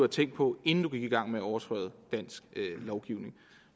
tænkt på inden du gik i gang med at overtræde dansk lovgivning